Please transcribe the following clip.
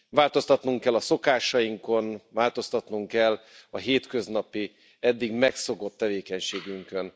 Változtatnunk kell a szokásainkon, változtatnunk kell a hétköznapi, eddig megszokott tevékenységünkön.